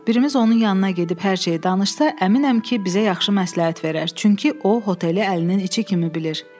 Birimiz onun yanına gedib hər şeyi danışsa, əminəm ki, bizə yaxşı məsləhət verər, çünki o oteli əlinin içi kimi bilir.